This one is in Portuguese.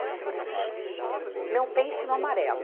Então, por exemplo, não pense no amarelo.